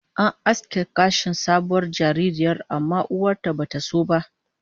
An aske gashin kan sabuwar jaririyar, amma uwar ta bata so ba